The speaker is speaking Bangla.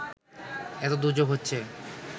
এতো দুর্যোগ হচ্ছে